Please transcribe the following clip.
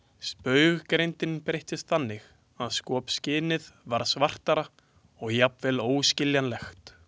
Spauggreindin breyttist þannig að skopskynið varð svartara og jafnvel óskiljanlegt.